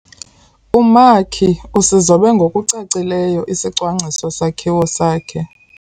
Umakhi usizobe ngokucacileyo isicwangciso-sakhiwo sakhe.